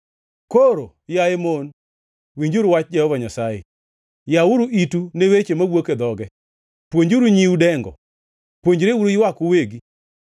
Koro, yaye mon, winjuru wach Jehova Nyasaye; yawuru itu ne weche mawuok e dhoge. Puonjuru nyiu dengo; puonjreuru ywak uwegi.